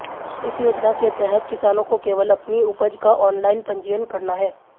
इस योजना के तहत् किसानों को केवल अपनी उपज का ऑनलाईन पंजीयन करना है